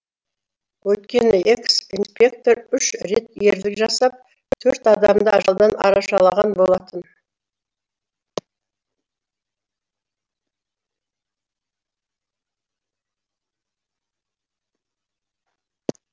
өйткені экс инспектор үш рет ерлік жасап төрт адамды ажалдан арашалаған болатын